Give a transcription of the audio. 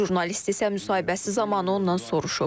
Jurnalist isə müsahibəsi zamanı ondan soruşub.